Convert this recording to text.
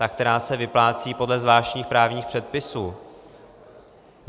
Ta, která se vyplácí podle zvláštních právních předpisů.